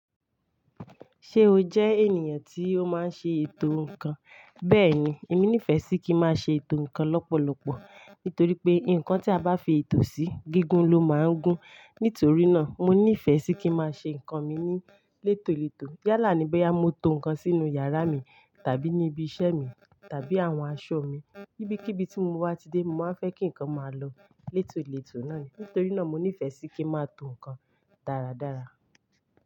Ṣé o jẹ́ ènìyàn tí ó máa ń ṣe ètò nnkan? Bẹ́ẹ̀ni, èmi nífẹ̀ẹ́ sí kí n máa ṣe ètò nnkan lọ́pọ̀lọpọ̀ nítorí pé nnkan tí a bá fi ètò sí, gígùn lo máa ń gún. Nítorí náà, mo nífẹ̀ẹ́ sí kí n máa ṣe nnkan mi ní lètòlètò. Yálà ní bóyá mo to ǹkan sínú yàrá mi, tàbí ní ibi iṣẹ́ mi, tàbí àwọn aṣọ mi. Kibikiibi tí mo wá ti dé, mo máa ń fẹ́ kí ǹkan máa lọ lètòlètò náà ni. Nítorí náà mo nífẹ̀ẹ́ sí kí n máa to ǹkan dáradára.